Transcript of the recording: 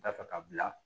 Dafɛ ka bila